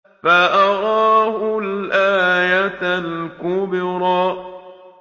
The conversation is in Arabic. فَأَرَاهُ الْآيَةَ الْكُبْرَىٰ